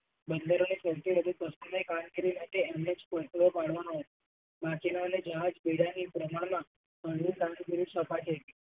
બંદરે કામગીરી માટે એમને જ પાડવાનો માછીમારોની જહાજ વી જાય ની એ પ્રમાણમાં